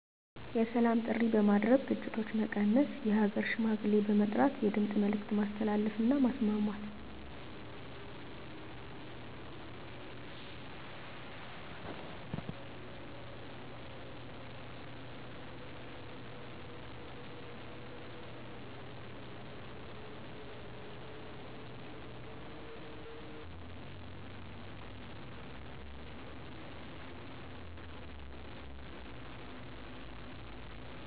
የሰላም ጥሪ በማድረግ ግጭቶች መቀነስ የሃገር ሽማግሌ በመጥራት የድምፅ መልዕክት ማስተላለፍ እና ማስማማት